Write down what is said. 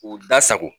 K'u da sago